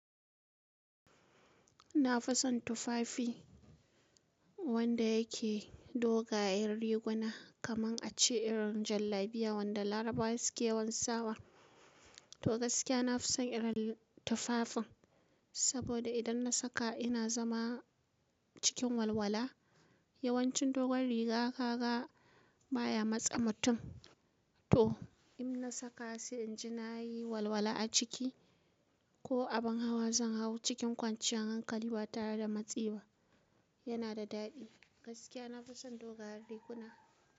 Na fi son tufafi wanda yake dogayen riguna, kaman a ce irin jallabiya wanda Larabawa suke yawan sawa. To gaskiya na fi son irin tufafin, saboda idan na saka ina zama cikin walwala. Yawancin dogon riga ka ga baya matse mutum. To, in na saka sai in ji na yi walwala a ciki, ko abin hawa zan hau cikin kwanciyan hankali ba tare da matsi ba. Yana da daɗi. Gaskiya na fi son dogayen riguna.